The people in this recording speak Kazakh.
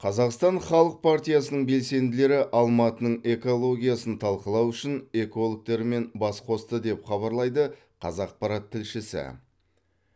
қазақстан халық партиясының белсенділері алматының экологиясын талқылау үшін экологтерімен бас қосты деп хабарлайды қазақпарат тілшісі